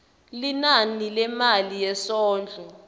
linani lemali yesondlo